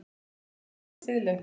Voru öll kvæðin siðleg?